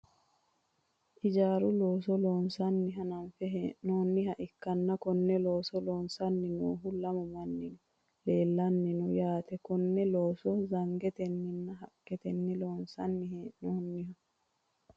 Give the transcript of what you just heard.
ijaaru looso loonsanni hananfe hee'nooniha ikkanna, konne looso loosanni noohu lamu mannino leelanni no yaate, konne looso zangetenninna haqqetenni loonsanni hee'noonniho.